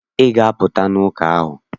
Ị ga-apụta n'ụka ahụ!